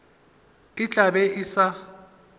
e tla be e sa